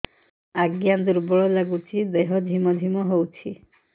ଆଜ୍ଞା ଦୁର୍ବଳ ଲାଗୁଚି ଦେହ ଝିମଝିମ ହଉଛି